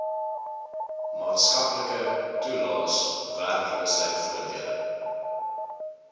maatskaplike toelaes werkloosheidvoordele